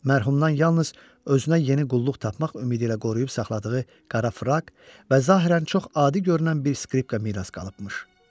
Mərhumdan yalnız özünə yeni qulluq tapmaq ümidi ilə qoruyub saxladığı qara fraq və zahirən çox adi görünən bir skripka miras qalıbmış.